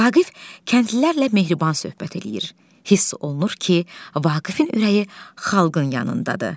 Vaqif kəndlilərlə mehriban söhbət eləyir, hiss olunur ki, Vaqifin ürəyi xalqın yanındadır.